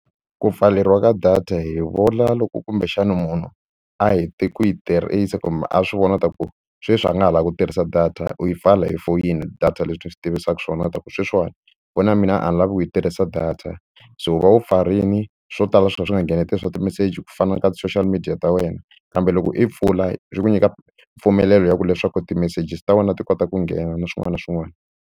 Ku pfaleriwa ka data hi vula loko kumbexana munhu a hete ku yi tirhisa kumbe a swi vona ta ku sweswi a nga ha lavi ku tirhisa data u yi pfala hi foyini data leswi ni swi tivisaka swona ta ku sweswiwani foni ya mina a ni lavi ku yi tirhisa data se u va u pfarini swo tala swi va swi nga ngheneteli swa timeseji ku fana na ka ti-social media ta wena kambe loko i pfula swi ku nyika mpfumelelo ya ku leswaku timeseji ta wena ti kota ku nghena na swin'wana na swin'wana.